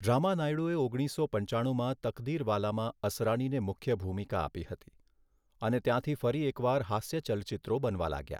રામાનાયડુએ ઓગણીસો પંચાણુમાં 'તકદીરવાલા'માં અસરાનીને મુખ્ય ભૂમિકા આપી હતી અને ત્યાંથી ફરી એક વાર હાસ્ય ચલચિત્રો બનવા લાગ્યા.